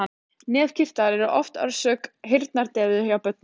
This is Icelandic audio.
Nefkirtlar eru oft orsök heyrnardeyfu hjá börnum.